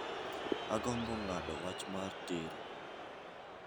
Agombo ng'ado wach mar tero